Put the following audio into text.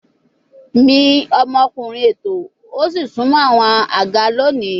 Mi omokunrin ètò o si sunmọ awọn aga loni